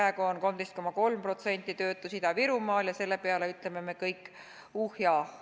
Praegu on 13,3%-line töötus Ida-Virumaal ja selle peale ütleme me kõik uhh ja ahh.